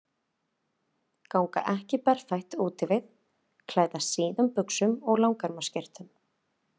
Ganga ekki berfætt úti við, klæðast síðum buxum og langerma skyrtum.